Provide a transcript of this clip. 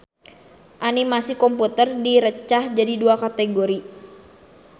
Animasi komputer direcah jadi dua kategori.